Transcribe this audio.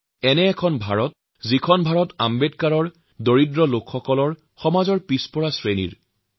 এইখন আম্বেদকাৰ দুখীয়া লোক আৰু সকলো পিছপৰা লোকৰ ভাৰতবৰ্ষ